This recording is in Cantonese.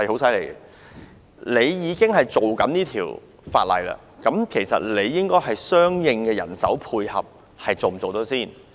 既然你正制定相關法例，你是否有相應的人手配合呢？